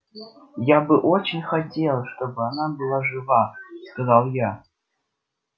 я бы очень хотел чтобы она была жива сказал я